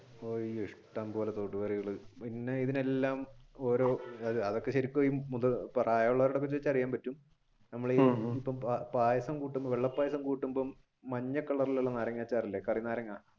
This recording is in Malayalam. ഇഷ്ടം പോലെ തോട് കറികൾ പിന്നെ ഇതിനെല്ലാം ഓരോ പ്രായമുള്ളവരോട് ചോദിച്ച അറിയാൻ പറ്റും നമ്മൾ ഈ പായസം വെള്ള പായസം കൂട്ടുമ്പോൾ മഞ്ഞ കളറിലുള്ള നാരങ്ങാ അച്ചാറില്ലേ കറി നാരങ്ങാ